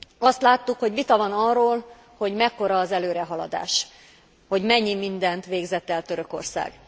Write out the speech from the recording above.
Azt láttuk, hogy vita van arról, hogy mekkora az előrehaladás, hogy mennyi mindent végzett el Törökország.